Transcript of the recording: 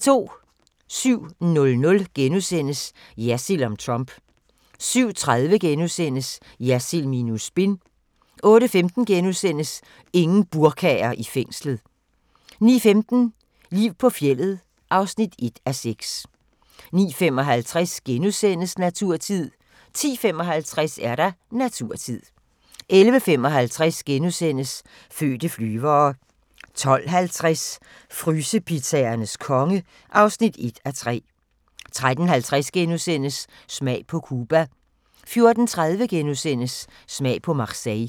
07:00: Jersild om Trump * 07:30: Jersild minus spin * 08:15: Ingen burkaer i fængslet * 09:15: Liv på fjeldet (1:6) 09:55: Naturtid * 10:55: Naturtid 11:55: Fødte flyvere * 12:50: Frysepizzaernes konge (1:3) 13:50: Smag på Cuba * 14:30: Smag på Marseille *